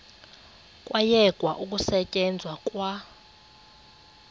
kwayekwa ukusetyenzwa kwa